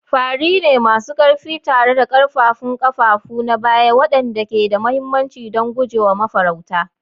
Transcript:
Fari ne masu ƙarfi tare da ƙaƙƙarfan kafafu na baya waɗanda ke da mahimmanci don guje wa mafarauta.